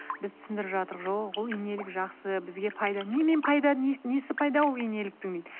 біз түсіндіріп жатырық жоқ ол инелік жақсы бізге пайда немен пайда несі пайдалы ол инеліктің дейді